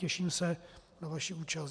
Těším se na vaši účast.